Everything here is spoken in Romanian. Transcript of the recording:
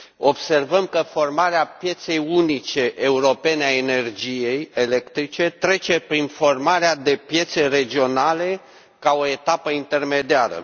Observăm că formarea pieței unice europene a energiei electrice trece prin formarea de piețe regionale ca o etapă intermediară.